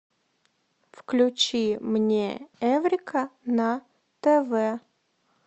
включи мне эврика на тв